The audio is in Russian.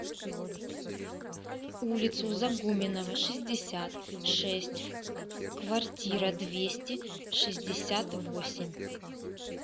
улицу загуменнова шестьдесят шесть в квартира двести шестьдесят восемь